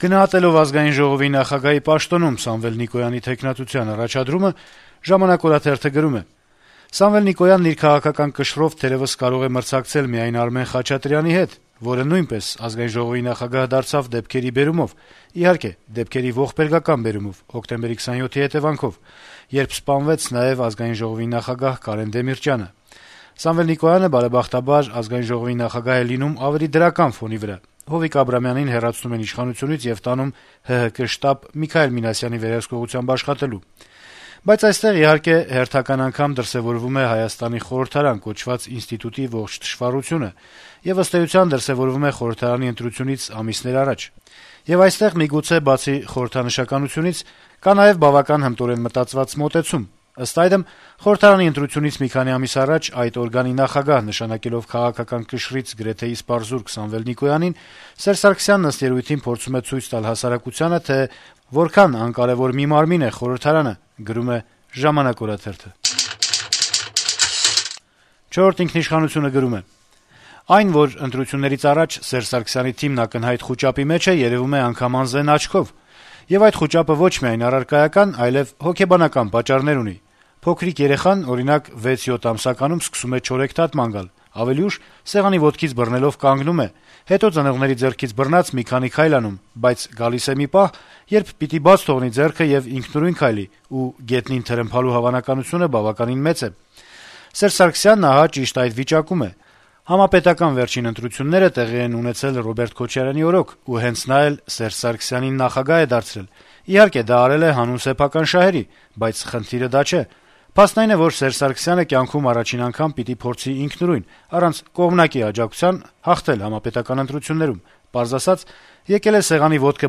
Գնահատելով Ազգային ժողովի նախագահի պաշտոնում Սամվել Նիկոյանի թեկնածության առաջադրումը` «Ժամանակ» օրաթերթը գրում է. - «Սամվել Նիկոյանը իր քաղաքական կշռով թերեւս կարող է մրցակցել միայն Արմեն Խաչատրյանի հետ, որը նույնպես ԱԺ նախագահ դարձավ դեպքերի բերումով, իհարկե, դեպքերի ողբերգական բերումով` հոկտեմբերի 27-ի հետեւանքով, երբ սպանվեց նաեւ ԱԺ նախագահ Կարեն Դեմիրճյանը: Սամվել Նիկոյանը, բարեբախտաբար, ԱԺ նախագահ է լինում ավելի դրական ֆոնի վրա` Հովիկ Աբրահամյանին հեռացնում են իշխանությունից եւ տանում ՀՀԿ շտաբ Միքայել Մինասյանի վերահսկողությամբ աշխատելու: Բայց այստեղ, իհարկե, հերթական անգամ դրսեւորվում է Հայաստանի խորհրդարան կոչված ինստիտուտի ողջ թշվառությունը, եւ ըստ էության դրսեւորվում է խորհրդարանի ընտրությունից ամիսներ առաջ: Եվ այստեղ միգուցե, բացի խորհրդանշականությունից, կա նաեւ բավական հմտորեն մտածված մոտեցում: Ըստ այդմ` խորհրդարանի ընտրությունից մի քանի ամիս առաջ այս օրգանի նախագահ նշանակելով քաղաքական կշռից գրեթե իսպառ զուրկ Նիկոյանին, Սերժ Սարգսյանն ըստ երեւույթին փորձում է ցույց տալ հասարակությանը, թե որքան անկարեւոր մի մարմին է խորհրդարանը»: «Չորրորդ ինքնիշխանություն»-ը գրում է. - «Այն, որ ընտրություններից առաջ Սերժ Սարգսյանի թիմն ակնհայտ խուճապի մեջ է, երեւում է անգամ անզեն աչքով: Եվ այդ խուճապը ոչ միայն առարկայական, այլեւ հոգեբանական պատճառներ ունի: Փոքրիկ երեխան, օրինակ, 6-7 ամսականում սկսում է չորեքթաթ ման գալ, ավելի ուշ սեղանի ոտքից բռնելով` կանգնում է, հետո ծնողների ձեռքից բռնած է մի քանի քայլ անում, բայց գալիս է մի պահ, երբ պիտի բաց թողնի ձեռքը եւ ինքնուրույն քայլի, ու գետնին թրմփալու հավանականությունը բավականին մեծ է: Սերժ Սարգսյանն, ահա, ճիշտ այդ վիճակում է. համապետական վերջին ընտրությունները տեղի են ունեցել Ռոբերտ Քոչարյանի օրոք, եւ հենց նա էլ Սերժ Սարգսյանի «թաթիկից բռնած» նախագահ է դարձել: Իհարկե` դա արել է հանուն սեփական շահերի, բայց խնդիրը դա չէ: Փաստն այն է, որ Սերժ Սարգսյանը կյանքում առաջին անգամ պիտի փորձի ինքնուրույն, առանց կողմնակի աջակցության հաղթել համապետական ընտրություններում: Պարզ ասած` եկել է սեղանի ոտքը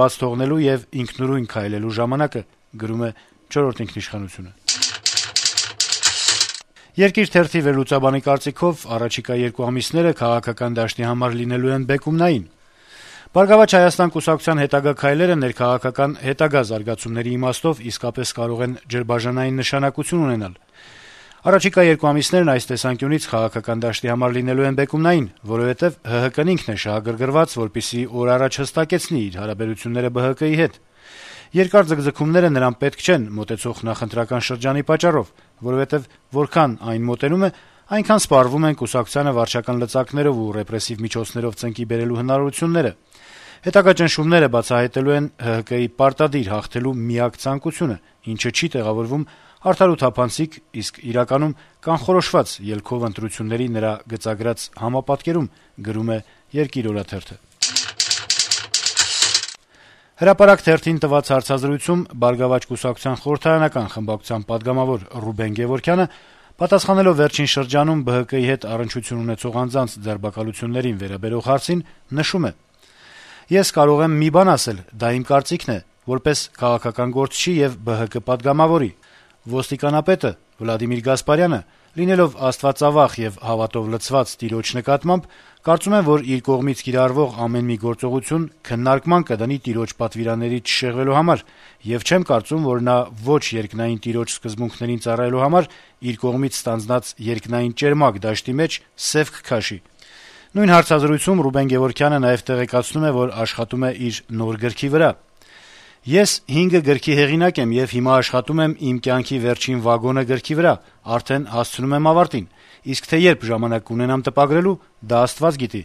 բաց թողնելու եւ ինքնուրույն քայլելու ժամանակը»: «Երկիր» թերթի վերլուծաբանի կարծիքով առաջիկա երկու ամիսները քաղաքական դաշտի համար լինելու են բեկումնային: «Բարգավաճ Հայաստան» կուսակցության հետագա քայլերը ներքաղաքական հետագա զարգացումների իմաստով իսկապես կարող են ջրբաժանային նշանակություն ունենալ: Առաջիկա երկու ամիսներն այս տեսանկյունից քաղաքական դաշտի համար լինելու են բեկումնային, որովհետև ՀՀԿ-ն ինքն է շահագրգռված, որպեսզի օր առաջ հստակեցնի իր հարաբերությունները ԲՀԿ-ի հետ: Երկար ձգձգումները նրան պետք չեն մոտեցող նախընտրական շրջանի պատճառով: Որովհետև որքան այն մոտենում է, այնքան սպառվում են կուսակցությանը վարչական լծակներով ու ռեպրեսիվ միջոցներով ծնկի բերելու հնարավորությունները: Հետագա ճնշումները բացահայտելու են ՀՀԿ-ի պարտադիր հաղթելու միակ ցանկությունը, ինչը չի տեղավորվում «արդար ու թափանցիկ», իսկ իրականում կանխորոշված ելքով ընտրությունների նրա գծագրած համապատկերում»: «Հրապարակ» թերթին տված հարցազրույցում «Բարգավաճ Հայաստան» կուսակցության խորհրդարանական խմբակցության պատգամավոր Ռուբեն Գեւորգյանը, պատասխանելով վերջին շրջանում ԲՀԿ-ի հետ առնչություն ունեցող անձանց ձերբակալություններին վերաբերող հարցին, ասում է. - «Ես կարող եմ մի բան ասել, դա իմ կարծիքն է՝ որպես քաղաքական գործչի եւ ԲՀԿ պատգամավորի: Ոստիկանապետը՝ Վլադիմիր Գասպարյանը, լինելով աստվածավախ եւ հավատով լցված տիրոջ նկատմամբ, կարծում եմ, որ իր կողմից կիրառվող ամեն մի գործողություն քննարկման կդնի տիրոջ պատվիրաններից չշեղվելու համար, եւ չեմ կարծում, որ նա ոչ երկնային տիրոջ սկզբունքներին ծառայելու համար իր կողմից ստանձնած երկնային ճերմակ դաշտի մեջ սեւ կքաշի»: Նույն հարցազրույցում Գեւորգյանը նաեւ տեղեկացնում է, որ աշխատում է իր նոր գրքի վրա. - «Ես հինգը գրքի հեղինակ եմ եւ հիմա աշխատում եմ «Իմ կյանքի վերջին վագոնը» գրքի վրա, արդեն հասցնում եմ ավարտին, իսկ թե երբ ժամանակ կունենամ տպագրելու՝ դա աստված գիտի»: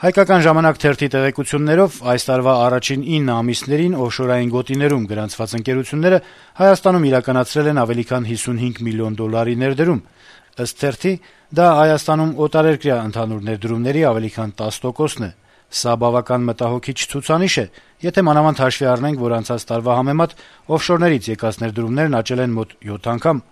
«Հայկական ժամանակ» թերթի տեղեկություններով` այս տարվա առաջին ինը ամիսներին օֆշորային գոտիներում գրանցված ընկերությունները Հայաստանում իրականացրել են ավելի քան 55 միլիոն դոլարի ներդրում: Ըստ թերթի` դա Հայաստանում օտարերկրյա ներդրումների ավելի քան 10 տոկոսն է. - «Սա բավական մտահոգիչ ցուցանիշ է, եթե մանավանդ հաշվի առնենք, որ անցած տարվա համեմատ` օֆշորներից եկած ներդրումներ աճել են մոտ յոթ անգամ»: